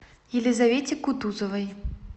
елизавете кутузовой